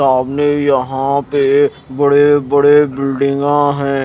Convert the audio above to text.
सामने यहां पे बड़े-बड़े बिल्डिंगा है।